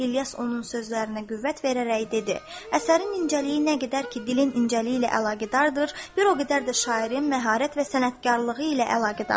İlyas onun sözlərinə qüvvət verərək dedi: Əsərin incəliyi nə qədər ki dilin incəliyi ilə əlaqədardır, bir o qədər də şairin məharət və sənətkarlığı ilə əlaqədardır.